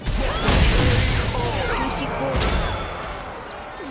тутикорин